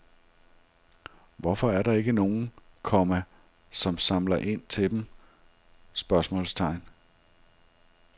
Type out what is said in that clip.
Hvorfor er der ikke nogen, komma som samler ind til dem? spørgsmålstegn